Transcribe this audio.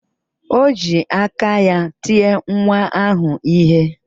O ji aka ya tie nwa ahụ ihe.